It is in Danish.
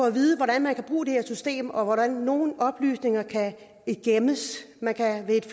at vide hvordan man kan bruge det system og hvordan nogle oplysninger kan gemmes man kan ved at